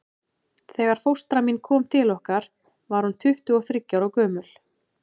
Þegar fóstra mín kom til okkar var hún tuttugu og þriggja ára gömul.